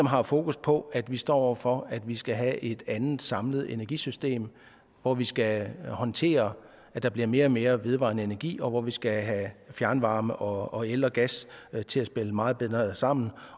har fokus på at vi står over for at vi skal have et andet samlet energisystem hvor vi skal håndtere at der bliver mere og mere vedvarende energi og hvor vi skal have fjernvarme og el og gas til at spille meget bedre sammen